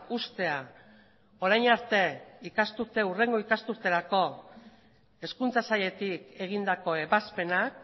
hurrengo ikasturterako hezkuntza sailetik egindako ebazpenak